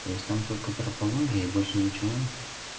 то есть там только трепология и больше ничего